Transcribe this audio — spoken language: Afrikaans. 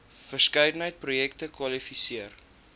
verskeidenheid projekte kwalifiseer